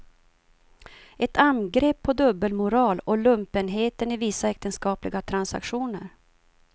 Ett angrepp på dubbelmoral och lumpenheten i vissa äktenskapliga transaktioner.